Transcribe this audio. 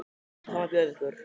Hvað má bjóða ykkur?